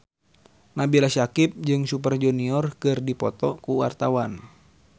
Nabila Syakieb jeung Super Junior keur dipoto ku wartawan